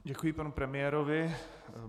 Děkuji panu premiérovi.